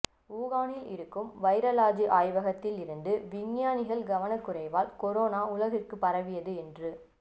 உகானில் இருக்கும் வைராலஜி ஆய்வகத்தில் இருந்து விஞ்ஞானிகள் கவனக்குறைவால் கொரோனா உலகிற்குப் பரவியது என்று